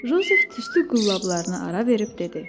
Jozef tüstü qullablarını ara verib dedi: